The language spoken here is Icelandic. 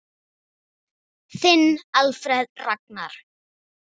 Þinn Alfreð Ragnar.